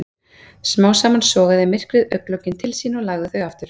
Smám saman sogaði myrkrið augnlokin til sín og lagði þau aftur.